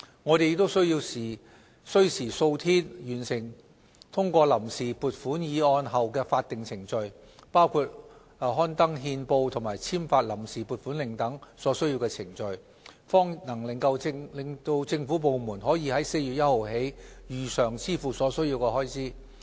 我們也需時數天完成通過臨時撥款議案後的法定程序，包括刊登憲報及簽發臨時撥款令等所需程序，方能令政府部門可於4月1日起如常支付所需開支。